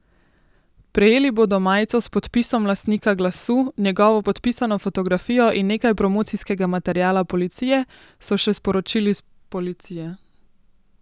Prejeli bodo majico s podpisom lastnika glasu, njegovo podpisano fotografijo in nekaj promocijskega materiala policije, so še sporočili s policije.